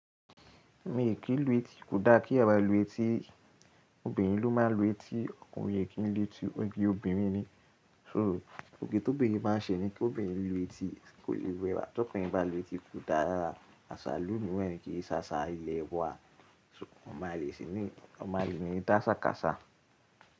Mi ò kí lu etí, kò daa eeyan maa lu etí. Obìnrin ló máa ń lu etí, ọkùnrin o kí ń lu etí, oge obìnrin ni. So, oge ti obìnrin maa n ṣe ni ki obìnrin lu etí, kò lè Ti okùnrin bá lu etí kò daa rára, àṣà ìlú miiran ni, kìí ṣe asa ilẹ̀ wa. So ọmọ àlè sí ní, ọmọ àlè ni dáṣàkàṣà.